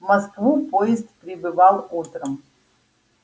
в москву поезд прибывал утром